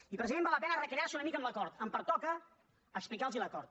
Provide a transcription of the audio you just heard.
i president val la pena recrear se una mica en l’acord em pertoca explicar los l’acord